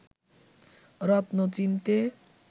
রত্ন চিনতে